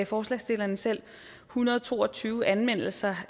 forslagsstillerne selv en hundrede og to og tyve anmeldelser